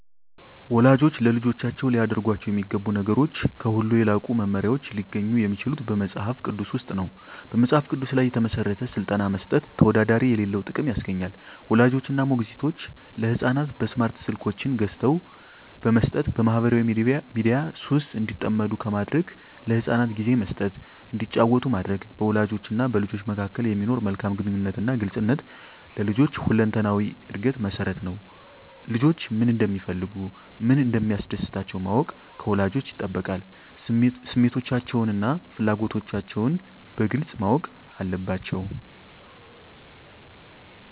ወላጆች ለልጆቻቸው ሊያደርጓቸው የሚገቡ ነገሮች ከሁሉ የላቁ መመሪያዎች ሊገኙ የሚችሉት በመጽሐፍ ቅዱስ ውስጥ ነው። በመጽሐፍ ቅዱስ ላይ የተመሠረተ ሥልጠና መስጠት ተወዳዳሪ የሌለው ጥቅም ያስገኛል። ወላጆች እና ሞግዚቶች ለሕፃናት በስማርት ስልኮችን ገዝተው በመስጠት በማኅበራዊ ሚዲያ ሱስ እንዲጠመዱ ከማድረግ ለሕፃናት ጊዜ መስጠት እንዲጫወቱ ማድረግ፣ በወላጆችና በልጆች መካከል የሚኖር መልካም ግንኙነትና ግልጽነት ለልጆች ሁለንተናዊ ዕድገት መሠረት ነው። ልጆች ምን እንደሚፈልጉ፣ ምን እንደሚያስደስታቸው ማወቅ ከወላጆች ይጠበቃል። ስሜቶቻቸውንና ፍላጎቶቻቸውን በግልጽ ማወቅ አለባቸዉ።